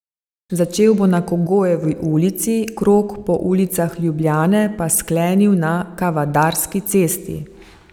Začel bo na Kogojevi ulici, krog po ulicah Ljubljane pa sklenil na Kavadarski cesti.